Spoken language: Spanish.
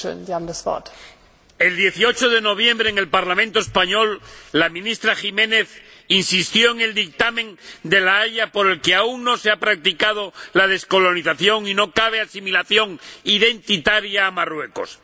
Señora Presidenta, el 18 de noviembre, en el Parlamento español, la ministra Jiménez insistió en el dictamen de La Haya por el que aún no se ha practicado la descolonización y no cabe asimilación identitaria a Marruecos.